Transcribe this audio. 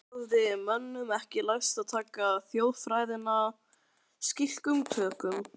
Enn hafði mönnum ekki lærst að taka þjóðfræðina slíkum tökum.